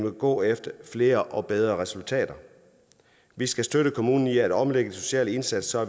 at gå efter flere og bedre resultater vi skal støtte kommunerne i at omlægge den sociale indsats så